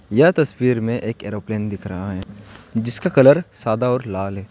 यह तस्वीर में एक एरोप्लेन दिख रहा है जिसका कलर सादा और लाल है।